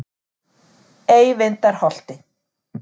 Eyvindarholti